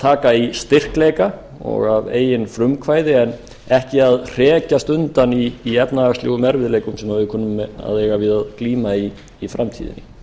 taka í styrkleika og að eigin frumkvæði en ekki að hrekjast undan í efnahagslegum erfiðleikum sem við kunnum að eiga við og glíma í framtíðinni